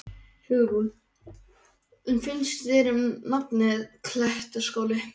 Hugrún: En hvað finnst þér um nafnið, Klettaskóli?